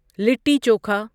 litti chokha